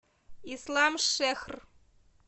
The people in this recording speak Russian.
исламшехр